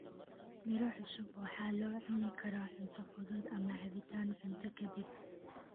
Miro cusub waxa loo cuni karaa cunto fudud ama cabbitaan cunto ka dib.